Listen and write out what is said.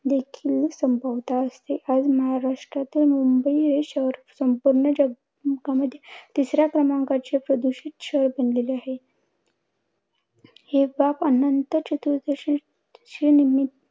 देखील संभवता असते. आज महाराष्ट्रातील मुंबई हे शहर संपूर्ण जग जगामध्ये तिसऱ्या क्रमांकाचे प्रदूषित शहर बनलेले आहे. हि बाब अनंत चतुर्दशीच्या निम्मित